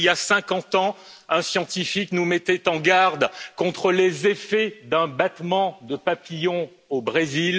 Il y a 50 ans, un scientifique nous mettait en garde contre les effets d'un battement de papillon au Brésil.